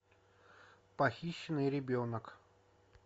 похищенный ребенок